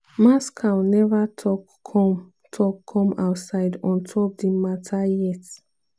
moscow neva tok come tok come outside on top di mata yet.